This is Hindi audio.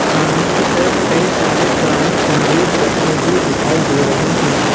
सामने की तरफ कई सारे पुराने संन्दुक रखे हुए दिखाई दे रहे हैं।